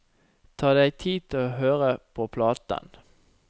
Ta deg tid til å høre på platen.